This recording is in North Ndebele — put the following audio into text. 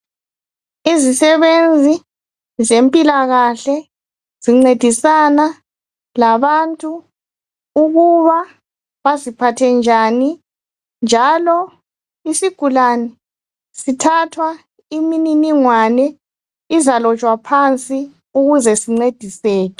Izisebenzi zempilakahle zincedisana labantu ukuba baziphathe njani njalo isigulani sithathwa imininingwane izalotshwa phansi ukuze sincediseke.